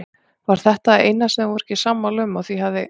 Var þetta það eina sem þau voru ekki sammála um og því hafði